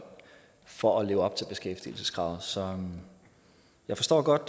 for at leve op til beskæftigelseskravet så jeg forstår godt